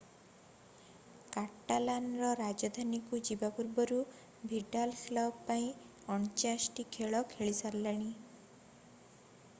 କାଟାଲାନର ରାଜଧାନୀକୁ ଯିବା ପରଠାରୁ ଭିଡାଲ କ୍ଲବ ପାଇଁ 49 ଟି ଖେଳ ଖେଳିସାରିଲେଣି